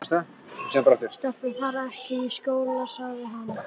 Stelpur fara ekki í skóla, sagði hann.